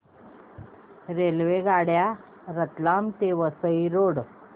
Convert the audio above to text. रेल्वेगाड्या रतलाम ते वसई रोड